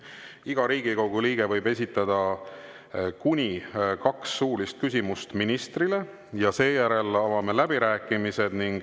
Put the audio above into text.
Iga Riigikogu liige võib esitada kuni kaks suulist küsimust ministrile ja seejärel avame läbirääkimised.